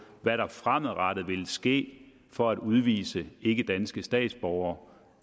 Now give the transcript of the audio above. hvad der fremadrettet vil ske for at udvise ikkedanske statsborgere